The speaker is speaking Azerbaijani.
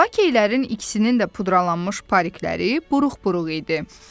Lakeylərin ikisinin də pudralanmış parikləri buruq-buruq idi.